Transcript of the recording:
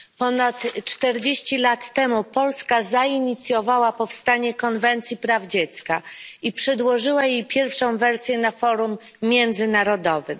Ponad 40 lat temu Polska zainicjowała powstanie Konwencji o prawach dziecka i przedłożyła jej pierwszą wersję na forum międzynarodowym.